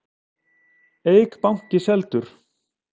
Eik banki seldur